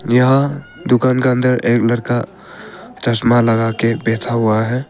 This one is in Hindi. यहाँ दुकान के अंदर एक लड़का चश्मा लगा के बैठा हुआ है।